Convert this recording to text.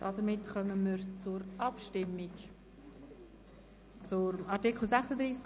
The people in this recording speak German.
Damit kommen wir zur Abstimmung über Artikel 36 Absatz 1.